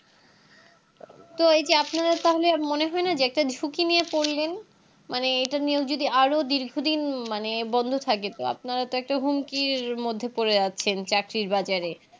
তো এই যে আপনারা তাহলে আর মনে হয়না যে একটা সুকি নিয়ে পড়লেন মানে এটা নিয়েও যদি আরও দীর্ঘদিন মানে বন্ধ থাকে তো আপনারা একটা হুমকির মধ্যে পরে আছেন চাকরির বাজারে